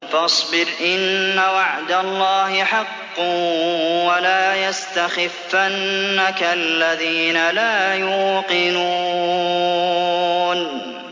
فَاصْبِرْ إِنَّ وَعْدَ اللَّهِ حَقٌّ ۖ وَلَا يَسْتَخِفَّنَّكَ الَّذِينَ لَا يُوقِنُونَ